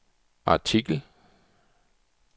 artikel